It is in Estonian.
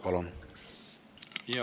Palun!